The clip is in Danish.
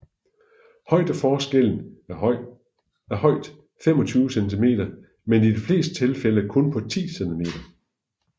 Højdeforskellen er højt 25 cm men i de fleste tilfælde på kun 10 cm